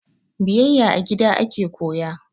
Biyayya a gida ake koya